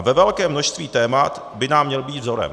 A ve velkém množství témat by nám měl být vzorem.